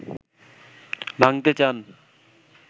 ভাঙ্গতে চান